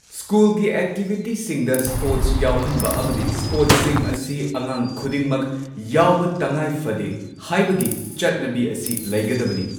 ꯁ꯭ꯀꯨꯜꯒꯤ ꯑꯦꯛꯇꯤꯚꯤꯇꯤꯁꯤꯡꯗ ꯁ꯭ꯄꯣꯔꯠꯁ ꯌꯥꯎꯍꯟꯕ ꯑꯃꯗꯤ ꯁ꯭ꯄꯣꯔꯠꯁꯤꯡ ꯑꯁꯤ ꯑꯉꯥꯡ ꯈꯨꯗꯤꯡꯃꯛ ꯌꯥꯎꯕ ꯇꯉꯥꯏ ꯐꯗꯦ ꯍꯥꯏꯕꯒꯤ ꯆꯠꯅꯕꯤ ꯑꯁꯤ ꯂꯩꯒꯗꯕꯅꯤ꯫